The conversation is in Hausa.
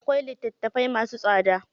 Akwai litattafai masu tsada.